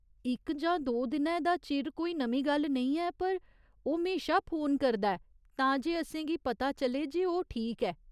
इक जां दो दिनै दा चिर कोई नमीं गल्ल नेईं ऐ, पर ओह् म्हेशा फोन करदा ऐ तां जे असेंगी पता चले जे ओह् ठीक ऐ।